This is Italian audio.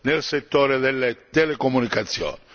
nel settore delle telecomunicazioni.